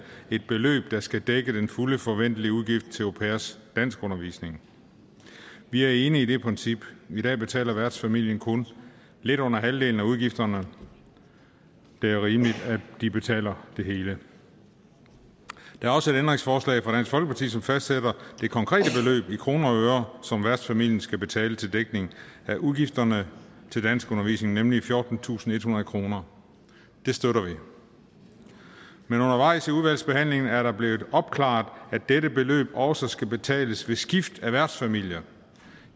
et beløb der skal dække den fulde forventelige udgift til au pairers danskundervisning vi er enige i det princip i dag betaler værtsfamilien kun lidt under halvdelen af udgifterne det er rimeligt at de betaler det hele der er også et ændringsforslag fra dansk folkeparti som fastsætter det konkrete beløb i kroner og øre som værtsfamilien skal betale til dækning af udgifterne til danskundervisning nemlig fjortentusinde og ethundrede kroner det støtter vi men undervejs i udvalgsbehandlingen er det blevet opklaret at dette beløb også skal betales ved skift af værtsfamilier